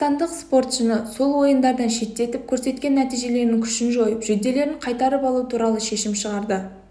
қазақстандық спортшыны сол ойындардан шеттетіп көрсеткен нәтижелерінің күшін жойып жүлделерін қайтарып алу туралы шешім шығарды